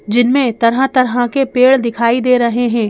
जिनमें तरह-तरह के पेड़ दिखाई दे रहे हैं।